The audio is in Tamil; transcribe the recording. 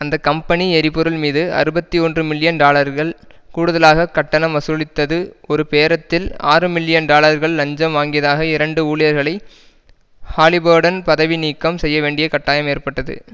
அந்த கம்பெனி எரிபொருள் மீது அறுபத்தி ஒன்று மில்லியன் டாலர்கள் கூடுதலாக கட்டணம் வசூலித்தது ஒரு பேரத்தில் ஆறுமில்லியன் டாலர்கள் இலஞ்சம் வாங்கியதாக இரண்டு ஊழியர்களை ஹாலிபர்டன் பதவி நீக்கம் செய்யவேண்டிய கட்டாயம் ஏற்பட்டது